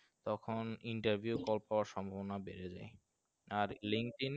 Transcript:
তখন interview call পাওয়ার সম্ভবনা বেড়ে যায়